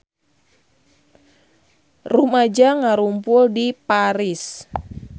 Rumaja ngarumpul di Paris